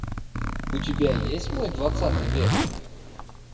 у тебя есть мой двадцатый век